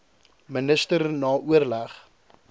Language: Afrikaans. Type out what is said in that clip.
minister na oorleg